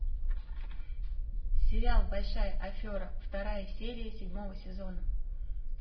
сериал большая афера вторая серия седьмого сезона